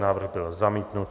Návrh byl zamítnut.